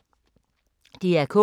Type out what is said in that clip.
DR K